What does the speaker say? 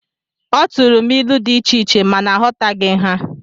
Ọ turu m ilu dị icheiche, ma na aghọtaghi ha